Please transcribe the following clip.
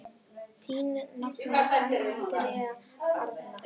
Þín nafna, Andrea Arna.